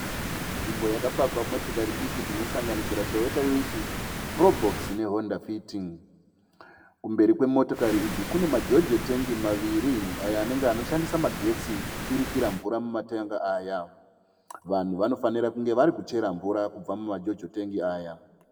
Nzvimbo yakapakwa motikari diki dzinosanganisira Toyota Wish, Crobox neHondafit. Kumberi kwemotokari idzi kune majojo tengi maviri ayo anenge anoshandisa magetsi kuturikira mvura kumatengi aya. Vanhu vanofanira kunge vari kuchera mvura kubva mumajojo tengi aya.